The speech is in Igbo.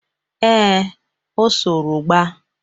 Ee, o soro gba